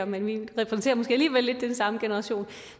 men vi repræsenterer måske alligevel lidt den samme generation